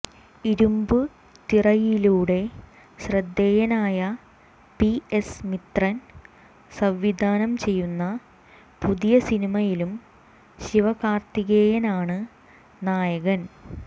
ഇരുമ്പു തിറൈയിലൂടെ ശ്രദ്ധേയനായ P S Mithran സംവിധാനം ചെയ്യുന്ന പുതിയ സിനിമയിലും ശിവകാര്ത്തികേയനാണ് നായകൻ